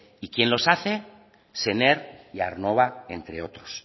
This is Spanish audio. y quién los hace sener y aernnova entre otros